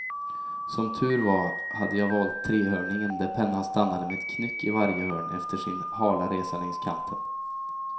Som tur var hade jag valt trehörningen där pennan stannade med en knyck i varje hörn efter sin hala resa längs kanten.